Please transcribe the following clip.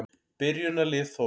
Byrjunarlið Þórs.